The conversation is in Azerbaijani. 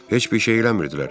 Heç bir şey eləmirdilər.